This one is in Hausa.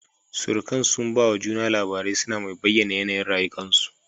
Surukan sun ba wa juna labarai suna mai bayyana yanayin rayukan su